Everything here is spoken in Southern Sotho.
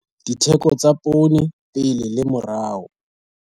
Ditheko tsa poone pele le morao.